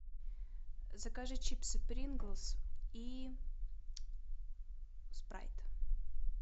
закажи чипсы принглс и спрайт